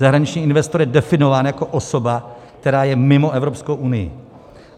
Zahraniční investor je definován jako osoba, která je mimo Evropskou unii.